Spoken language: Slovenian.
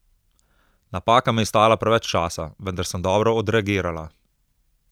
Napaka me je stala preveč časa, vendar sem dobro odreagirala.